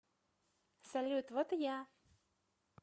салют вот и я